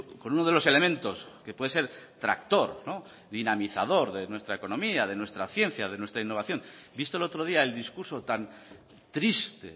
con uno de los elementos que puede ser tractor dinamizador de nuestra economía de nuestra ciencia de nuestra innovación visto el otro día el discurso tan triste